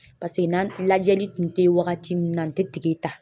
Pase n'an lajɛli kun te ye wagati min na n tɛ tige ta.